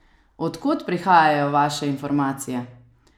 Od kod prihajajo vaše informacije?